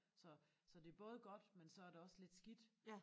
Så så det både godt men så er det også lidt skidt